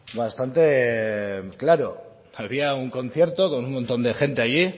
claro había un concierto con un montón de gente allí